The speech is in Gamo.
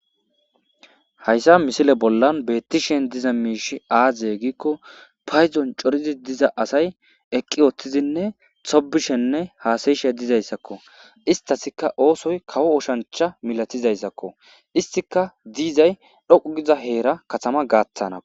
Hayssan misile bolla betishe dizay azee gizayssa gidikko payddon coriddi diza asay eeqi uuttidinne toobishenne hassayishe dizayssakko isitasikka oosoyi kawo oosanchcha milatizayssakko istikka dizay dhoqqu gida heeran kaatama gaththna